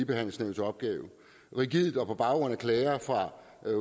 behandle sager rigidt og på baggrund af klager fra